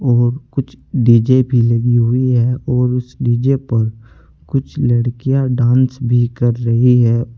और कुछ डीजे भी लगी है और उस डीजे पर कुछ लड़कियां डांस भी कर रही है।